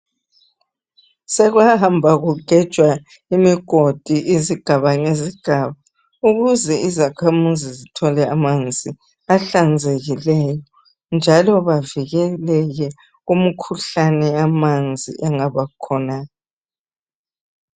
Sekwahamba kugejwa imigodi izigaba ngezigaba .Ukuze izakhamuzi zithole amanzi ahlanzekileyo .Njalo bavikeleke kumkhuhlane yamanzi engaba khona .